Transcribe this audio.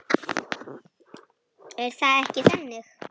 Hann svaraði ekki.